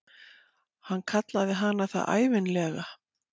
Hann kallaði hana það ævinlega.